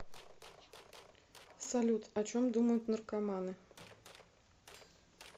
салют о чем думают наркоманы